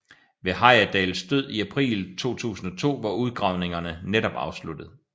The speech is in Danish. Ved Heyerdahls død i april 2002 var udgravningerne netop afsluttet